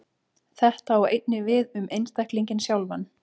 Þetta á einnig við um einstaklinginn sjálfan.